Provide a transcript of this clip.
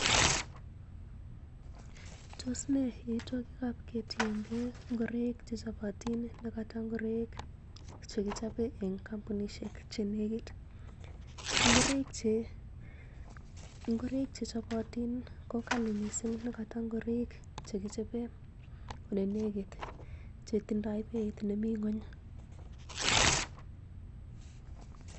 os nee yaoitwogikab ketienge ngoroiik che chobotin ne koto ngoroik che kichobe en kampunisiek che negiit? Ngoroik che chobotin ko kali mising nekoto ngoroik che kiole en ye negit che tindo beit nemi ng'weny.